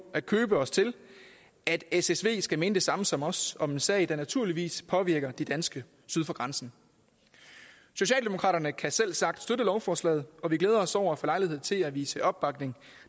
at købe os til at ssv skal mene det samme som os om en sag der naturligvis påvirker de danske syd for grænsen socialdemokraterne kan selvsagt støtte lovforslaget og vi glæder os over at få lejlighed til at vise opbakning